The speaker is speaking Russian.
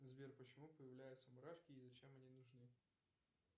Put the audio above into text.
сбер почему появляются мурашки и зачем они нужны